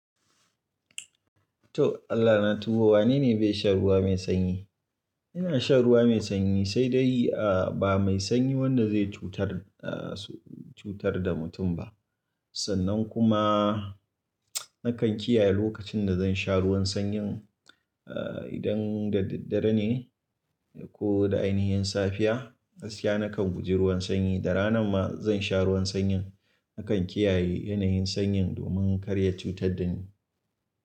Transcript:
To Allah na tuba wane ne bai shan ruwa mai sanyi? Ina sha ruwa mai sanyi sai dai a ba mai sanyi wanda zai cutar, ah cutar da mutum ba. Sannan kuma nakan kiyaye lokacin da zan sha ruwan sanyin. Ah idan da daddare ne ko da ainihin safiya. Gaskiya nakan guji ruwan sanyi da rana ma zan sha ruwan sanyin nakan kiyaye yanayin sanyin domin kar ya cutar da ni.